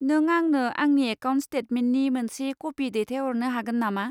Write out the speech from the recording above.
नों आंनो आंनि एकाउन्ट स्टेटमेन्टनि मोनसे कपि दैथायहरनो हागोन नामा?